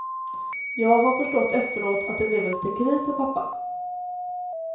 Jag har förstått efteråt att det blev en liten kris för pappa.